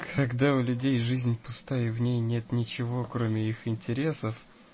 когда у людей жизнь пуста и в ней нет ничего кроме их интересов